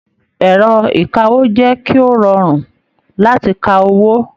Ẹrọ ìkáwó jẹ kí o rọrun láti kà owó.